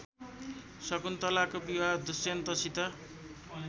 शकुन्तलाको विवाह दुष्यन्तसित